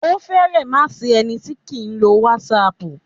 Ó fẹ̀rẹ má sí ẹni tí kìí lo whatsapp.